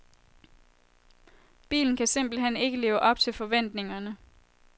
Bilen kan simpelt hen ikke leve op til forventningerne.